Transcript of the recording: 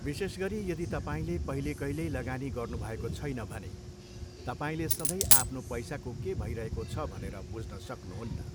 विशेष गरी यदि तपाईँले पहिले कहिल्यै लगानी गर्नुभएको छैन भने, तपाईँले सधैँ आफ्नो पैसाको के भइरहेको छ भनेर बुझ्न सक्नुहुन्न।